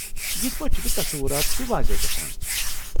یتھہٕ پٲٹھۍ چھِ مےٚ تصوٗرات تِہ واضح گژھان۔